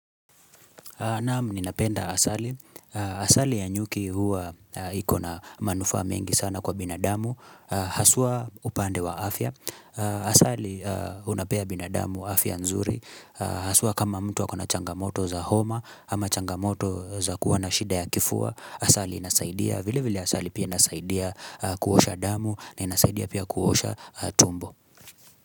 Naam ninapenda asali. Asali ya nyuki huwa ikona manufaa mengi sana kwa binadamu. Haswa upande wa afya. Asali unapea binadamu afya nzuri. Haswa kama mtu akona changamoto za homa ama changamoto za kuwa na shida ya kifua. Asali inasaidia. Vile vile asali pia inasaidia kuosha damu na inasaidia pia kuosha tumbo.